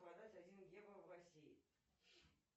продать один евро в россии